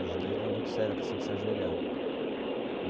No judaísmo é muito séria a questão de se ajoelhar.